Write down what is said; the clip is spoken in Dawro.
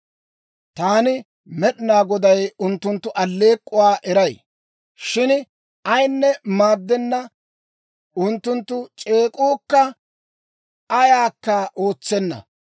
Taani Med'inaa Goday unttunttu aleek'k'uwaa eray; shin ayinne maaddenna; unttunttu c'eek'uukka ayaakka ootsenna.